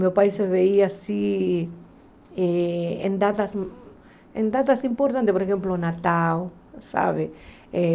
Meu pai vinha, assim, em datas em datas importantes, por exemplo, o Natal, sabe? Eh